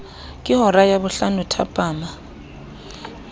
ke hora ya bohlano thapama